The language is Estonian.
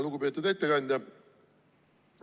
Lugupeetud ettekandja!